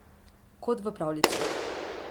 Kot v pravljici.